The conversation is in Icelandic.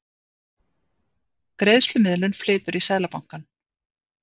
Greiðslumiðlun flytur í Seðlabankann